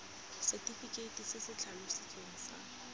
setefikeite se se tlhalositsweng sa